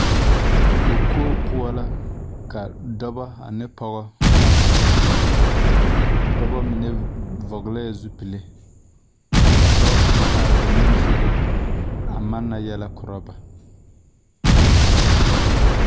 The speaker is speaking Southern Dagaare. kookoo poɔ la ka dɔba ane pɔge a zeŋ a dɔba mine vɔglɛɛ zupile kyɛ ka dɔɔ kaŋ are ba nimisogoŋ a manna yɛlɛ korɔ ba.